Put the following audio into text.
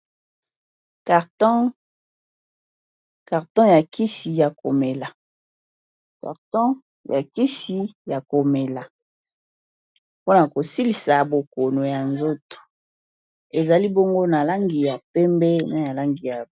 Karton , karton ya kisi ya komela, mpona kosilisa bokono ya nzoto, ezali bongo na langi ya pembe na yalangi ya.